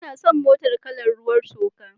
Ina son motar kalar ruwan toka.